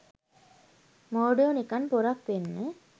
මෝඩයෝ නිකන් පොරක් වෙන්න